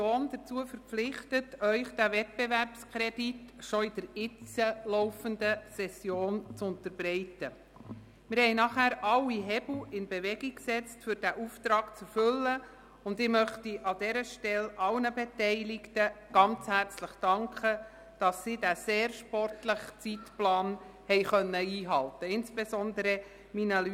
Ich möchte an dieser Stelle allen Beteiligten und insbesondere meinen Leuten des Amts für Grundstücke und Gebäude (AGG) und der BFH sehr herzlich dafür danken, dass sie den sehr sportlichen Zeitplan einhalten konnten.